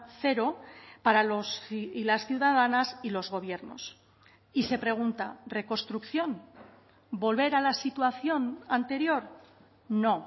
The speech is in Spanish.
cero para los y las ciudadanas y los gobiernos y se pregunta reconstrucción volver a la situación anterior no